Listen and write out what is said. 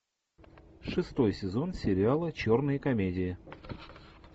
шестой сезон сериала черная комедия